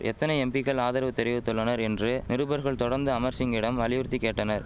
எத்தனை எம்பிக்கள் ஆதரவு தெரிவித்துள்ளனர் என்று நிருபர்கள் தொடர்ந்து அமர்சிங்கிடம் வலியுறுத்தி கேட்டனர்